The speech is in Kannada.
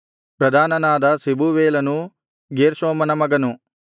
ಪ್ರಧಾನನಾದ ಶೆಬೂವೇಲನು ಗೇರ್ಷೋಮನ ಮಗನು